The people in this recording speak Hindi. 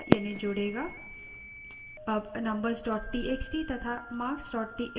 अब numbers txt तथा marks txt दोनों files का प्रयोग करते हैं